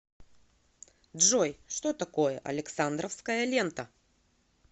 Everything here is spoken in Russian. джой что такое александровская лента